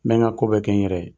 N bɛ n ka ko bɛɛ kɛ n yɛrɛ ye.